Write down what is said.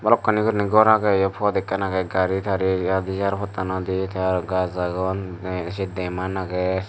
hokkani gureni gor agey yo pot ekkan agey gari tari yat airportanodi te aro gach agon bek se deman agey.